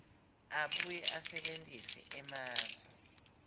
abuye asebentise emasu